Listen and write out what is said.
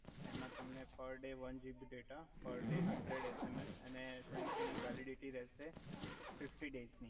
એમા તમને per day one GB data per day hundred SMS અને એની વેલીડીટી રેહ્સે ફિફ્ટી ડેયસ ની